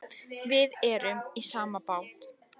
Við erum í sama bát.